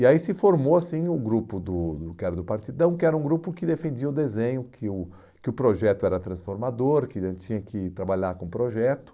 E aí se formou assim o grupo do do que era do Partidão, que era um grupo que defendia o desenho, que o que o projeto era transformador, que daí tinha que trabalhar com o projeto.